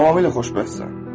Tamamilə xoşbəxtsən.